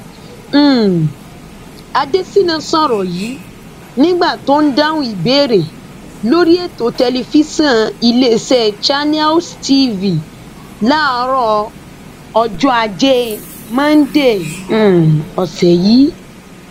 um adésínà sọrọ yìí nígbà tó ń dáhùn ìbéèrè lórí ètò tẹlifíṣọn iléeṣẹ channels tv láàárọ ọjọ ajé monde um ọsẹ yìí